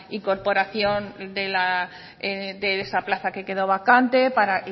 incorporación de esa plaza que quedó vacante para